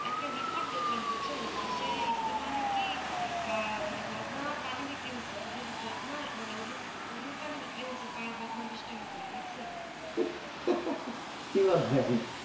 একটা report দেখলাম বুঝছেন ইসে ইস্তেমা না কি মানে বদনা পানি বিক্রিতেছে মানে উজ্জুর বদনা মানে উজ্জুর উজ্জুর পানি পার বদনা বিষ টাকা করে দেখছেন কি বলছেন